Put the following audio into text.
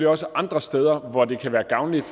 også andre steder hvor det kan være gavnligt